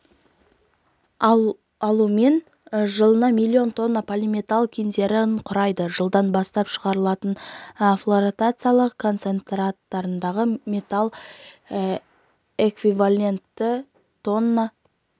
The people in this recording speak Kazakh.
алумен жылына миллион тонна полиметалл кендерін құрайды жылдан бастап шығарылатын флотациялық концентраттардағы металл эквиваленті тонна